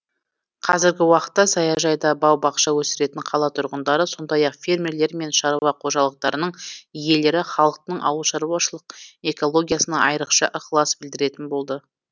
қазіргі уақытта саяжайда бау бақша өсіретін қала тұрғындары сондай ақ фермерлер мен шаруа қожалықтарының иелері халықтың ауылшаруашылық экологиясына айрықша ықылас білдіретін болды